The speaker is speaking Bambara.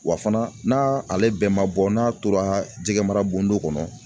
Wa fana n'a ale bɛɛ ma bɔ, n'a tora jɛgɛ mara bondon kɔnɔ